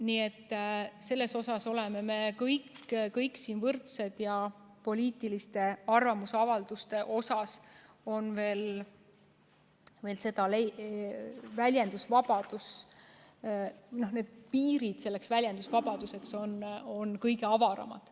Nii et selles suhtes me oleme kõik siin võrdsed ja poliitiliste arvamusavalduste jaoks on need väljendusvabaduse piirid veel kõige avaramad.